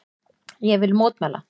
Ég vil mótmæla.